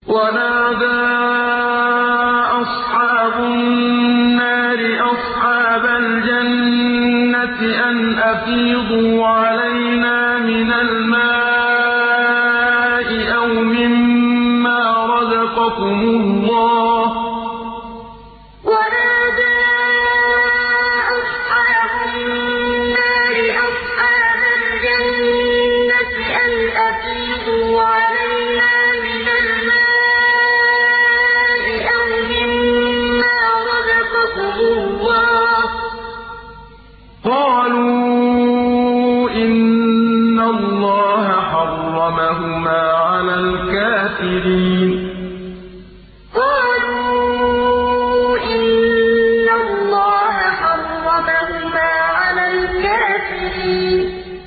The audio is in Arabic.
وَنَادَىٰ أَصْحَابُ النَّارِ أَصْحَابَ الْجَنَّةِ أَنْ أَفِيضُوا عَلَيْنَا مِنَ الْمَاءِ أَوْ مِمَّا رَزَقَكُمُ اللَّهُ ۚ قَالُوا إِنَّ اللَّهَ حَرَّمَهُمَا عَلَى الْكَافِرِينَ وَنَادَىٰ أَصْحَابُ النَّارِ أَصْحَابَ الْجَنَّةِ أَنْ أَفِيضُوا عَلَيْنَا مِنَ الْمَاءِ أَوْ مِمَّا رَزَقَكُمُ اللَّهُ ۚ قَالُوا إِنَّ اللَّهَ حَرَّمَهُمَا عَلَى الْكَافِرِينَ